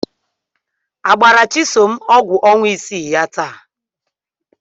Agbara Chisom ọgwụ ọnwa isii ya taa?